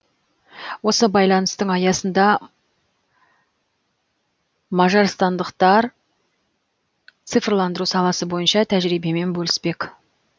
осы байланыстың аясында маражстандықтар цифрландыру саласы бойынша тәжірибемен бөліспек